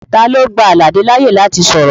Talo gba Alade laaye lati sọrọ?